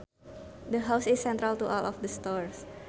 The house is central to all of the stores